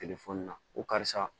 na ko karisa